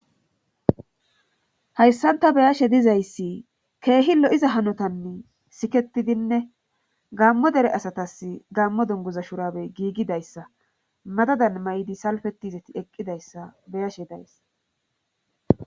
hayssanta beyashe dizayssi keehi lo7iza hanotanni siketidinne gammo dere asatas gammo dunguza shurabey giigidayssa madadan may7di salfeti zeti eqqidayssa beyashe dayssa